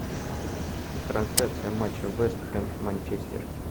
трансляция матча вест хэм манчестер